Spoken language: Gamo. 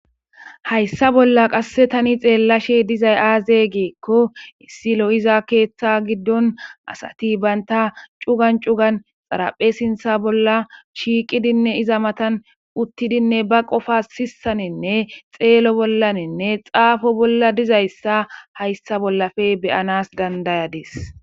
hayssa bolla qasse tani xeellashe dizay aaze geekko issilo iza keeththa giddon asati baynta cugan cugan xaraphe sintha bolla shiiqidinne iza matan uttidinne ba qofa sissaninne xeelo bollaninne xaafo bolla dizayssa hayssa bollafe beyanas dandayadis